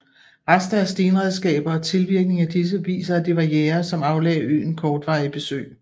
Rester af stenredskaber og tilvirking af disse viser at det var jægere som aflagde øen kortvarige besøg